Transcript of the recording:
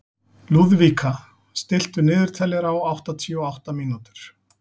Lúðvíka, stilltu niðurteljara á áttatíu og átta mínútur.